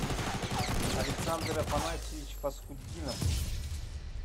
александр афанасьевич фасхутдинов